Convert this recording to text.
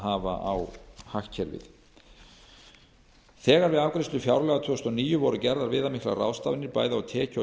hafa á hagkerfið þegar við afgreiðslu fjárlaga tvö þúsund og níu voru gerðar viðamiklar ráðstafanir bæði á tekju og